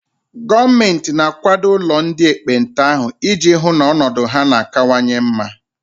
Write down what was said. Gọọmenti na akwado ụlọ ndị ekpenta ahụ ị ji hụ na ọnọdụ ha na kanwanye mma